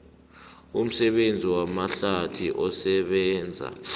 umsebenzi wamahlathi osebenza